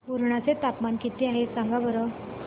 पुर्णा चे तापमान किती आहे सांगा बरं